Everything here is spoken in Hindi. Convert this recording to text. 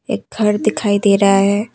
एक घर दिखाई दे रहा है।